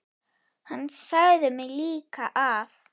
Hann sagði mér líka að